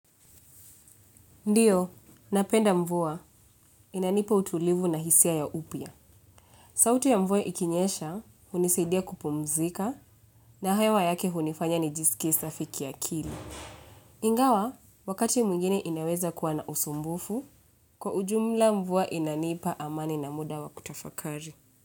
Ndio, napenda mvua. Inanipa utulivu na hisia ya upya. Sauti ya mvua ikinyesha, hunisidia kupumzika na hewa yake hunifanya nijisikie safi kiakili. Ingawa, wakati mwingine inaweza kuwa na usumbufu, kwa ujumla mvua inanipa amani na muda wa kutafakari.